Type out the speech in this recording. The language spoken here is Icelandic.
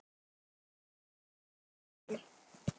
Ykkur öllum!